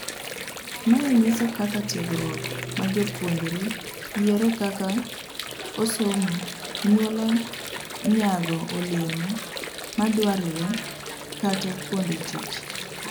Mae nyiso kaka tiegruok ma japuonjre yiero kaka osomo nyualo nyago olemo madwarre kata kuonde tich..